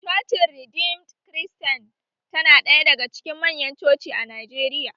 Cocin redeemed kiristain tana ɗaya daga cikin manya coci a Najeriya